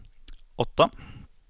åtta